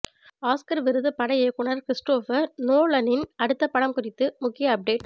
Oscar விருது பட இயக்குனர் கிரிஸ்டோபர் நோலனின் அடுத்த படம் குறித்து முக்கிய அப்டேட்